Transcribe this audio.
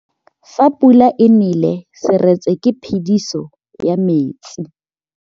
Fa pula e nelê serêtsê ke phêdisô ya metsi.